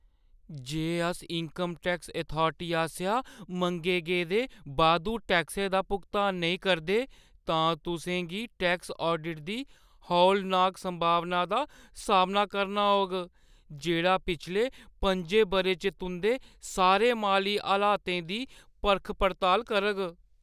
जे अस income tax authority आसेआ मंगे गेदे बाद्धू टैक्सै दा भुगतान नेईं करदे, तां तुसें गी टैक्स ऑडिट दी हौलनाक संभावना दा सामना करना होग जेह्ड़ा पिछले पंजे बʼरें च तुंʼदे सारे माली हालातें दी परख-पड़ताल करग।